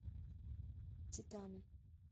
титаны